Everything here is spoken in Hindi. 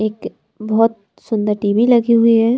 एक बहोत सुंदर टी_वी लगी हुई है।